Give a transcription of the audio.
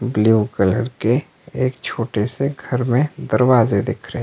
blue colour के एक छोटे से घर में दरवाजे दिख रहे--